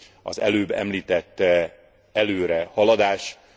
az előbb említett előrehaladás.